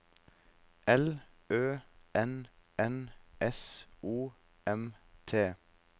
L Ø N N S O M T